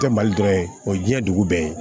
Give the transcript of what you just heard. Tɛ mali dɔrɔn ye o ye diɲɛ dugu bɛɛ ye